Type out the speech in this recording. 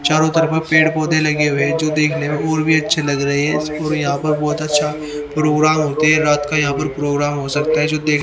चारों तरफा पेड़ पौधे लगे हुए जो देखने में और भी अच्छे लग रहे हैं और यहां पर बहुत अच्छा प्रोग्राम हो देर रात का यहां पर प्रोग्राम हो सकता जो दे --